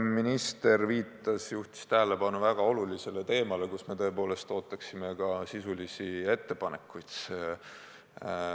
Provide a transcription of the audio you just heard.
Minister juhtis tähelepanu väga olulisele teemale, kus me tõepoolest ootaksime ka sisulisi ettepanekuid.